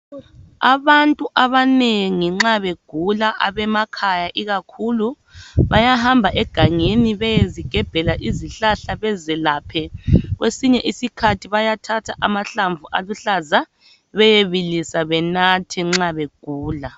Abantu abanengi nxa begula abemakhaya ikakhulu bayahamba egangeni beyezigebhela izihlahla bezelaphe, kwesinye isikhathi bayathatha amahlamvu aluhlaza beyebilisa benathe nxa begula.